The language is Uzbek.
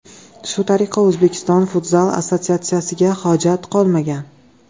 Shu tariqa O‘zbekiston Futzal Assotsiatsiyasiga hojat qolmagan.